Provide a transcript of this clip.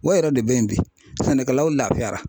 O yɛrɛ de bɛ yen bi sɛnɛkɛlaw lafiyara.